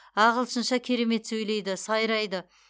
ағылшынша керемет сөйлейді сайрайды